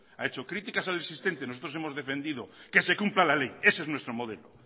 ha hecho críticas al existente nosotros hemos defendido que se cumpla la ley ese es nuestro modelo